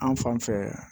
An fan fɛ